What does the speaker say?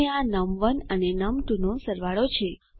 અને આ નમ1 અને નમ2 નો સરવાળો છે